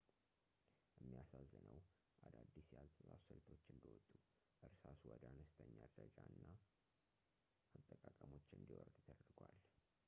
የሚያሳዝነው ፣ አዳዲስ የአጻጻፍ ስልቶች እንደወጡ ፣ እርሳሱ ወደ አነስተኛ ደረጃ እና አጠቃቀሞች እንዲወርድ ተደርጓል